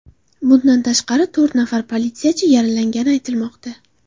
Bundan tashqari, to‘rt nafar politsiyachi yaralangani aytilmoqda.